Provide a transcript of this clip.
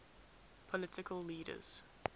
political leaders